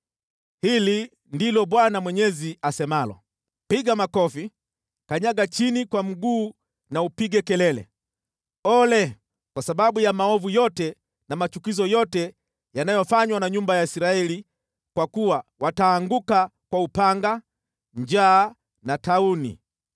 “ ‘Hili ndilo Bwana Mwenyezi asemalo: Piga makofi, kanyaga chini kwa mguu na upige kelele, “Ole!” kwa sababu ya maovu yote na machukizo yote yanayofanywa na nyumba ya Israeli, kwa kuwa wataanguka kwa upanga, njaa na tauni.